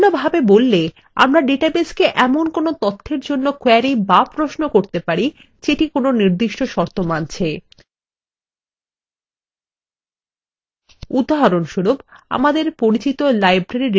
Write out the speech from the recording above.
অন্য ভাবে বললে আমরা ডাটাবেসকে এমন কোনো তথ্যের জন্য query বা প্রশ্ন করতে পারি যেটি কোনো নির্দিষ্ট শর্ত মানছে